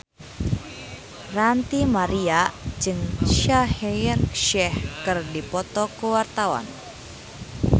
Ranty Maria jeung Shaheer Sheikh keur dipoto ku wartawan